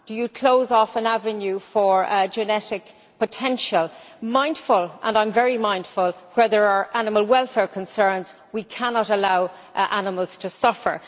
Do you close off an avenue for genetic potential, mindful and I am very mindful where there are animal welfare concerns that we cannot allow animals to suffer.